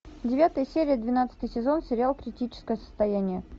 девятая серия двенадцатый сезон сериал критическое состояние